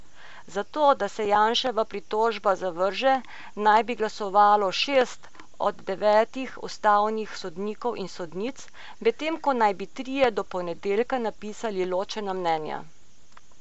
Za to, da se Janševa pritožba zavrže, naj bi glasovalo šest od devetih ustavnih sodnikov in sodnic, medtem ko naj bi trije do ponedeljka napisali ločena mnenja.